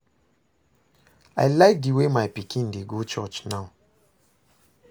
I like the way my pikin dey go church now